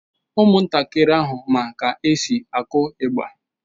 Ụmụntakịrị ahụ ma ka e si akụ ịgbà.